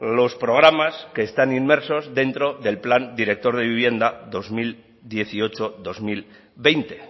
los programas que están inmersos dentro del plan director de vivienda dos mil dieciocho dos mil veinte